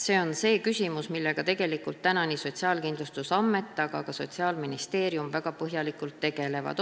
See on küsimus, millega nii Sotsiaalkindlustusamet kui ka Sotsiaalministeerium väga põhjalikult tegelevad.